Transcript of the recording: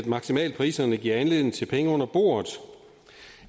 maksimalpriserne giver anledning til penge under bordet